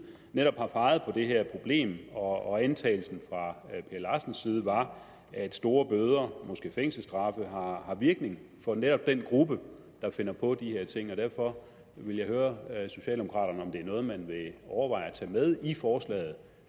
netop har peget på det her problem og antagelsen fra per larsens side var at store bøder måske fængselsstraffe har virkning for netop den gruppe der finder på de her ting derfor vil jeg høre socialdemokraterne om det er noget man vil overveje at tage med i forslaget